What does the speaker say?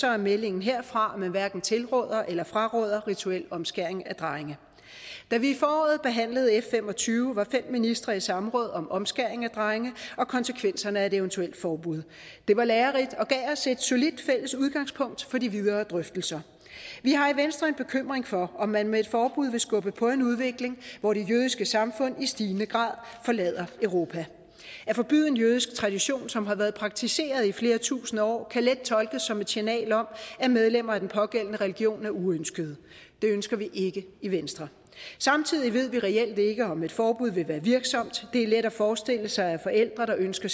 er meldingen herfra at man hverken tilråder eller fraråder rituel omskæring af drenge da vi i foråret behandlede f fem og tyve var fem ministre i samråd om omskæring af drenge og konsekvenserne af et eventuelt forbud det var lærerigt og gav os et solidt fælles udgangspunkt for de videre drøftelser vi har i venstre en bekymring for at man med et forbud vil skubbe på en udvikling hvor de jødiske samfund i stigende grad forlader europa at forbyde en jødisk tradition som har været praktiseret i flere tusinde år kan let tolkes som et signal om at medlemmer af den pågældende religion er uønskede det ønsker vi ikke i venstre samtidig ved vi reelt ikke om et forbud vil være virksomt det er let at forestille sig at forældre der ønsker